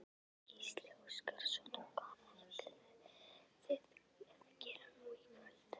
Gísli Óskarsson: Hvað ætlið þið að gera nú í kvöld?